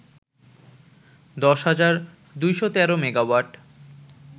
১০,২১৩ megawatt